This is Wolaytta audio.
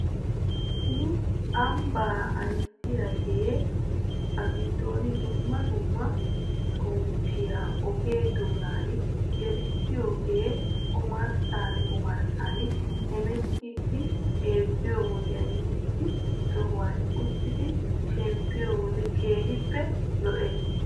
Nu ambaa ayissiyaagee hagiddon dumma dumma xomppiyaa oge doonan gelissidoogee omarssan omarssan hemetettiiddi xeelliyoo wodenne issi sohuwan uttidi shemppiyoo wode keehippe lo'es.